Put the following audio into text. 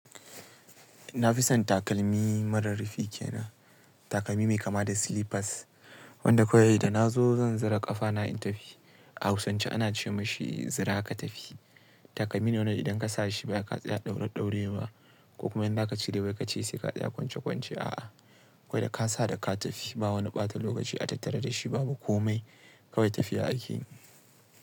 Na fi son takalmi mara rufi kenan, takalmi mai kama da slippers wanda kawai idan na zo zan zura ƙafana in tafi. A hausance ana ce mashi zura ka tafi. Takalmi ne wanda idan ka sa shi ba sai ka tsaya ɗaure ɗaure ba ko kuma idan zaka cire wai ka ce sai ka tsaya kwance kwance. A'a, kawai da ka sa da ka tafi ba wani ɓata lokaci a tattare da shi babu komai kawai tafiya akeyi.